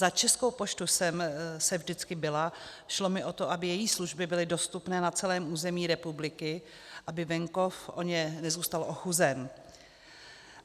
Za Českou poštu jsem se vždycky bila, šlo mi o to, aby její služby byly dostupné na celém území republiky, aby venkov o ně nezůstal ochuzen.